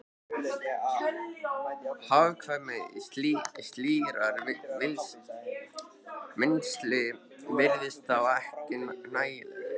Hagkvæmni slíkrar vinnslu virtist þá ekki nægjanleg.